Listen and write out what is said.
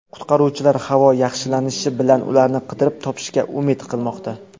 Qutqaruvchilar havo yaxshilanishi bilan ularni qidirib topishga umid qilmoqda.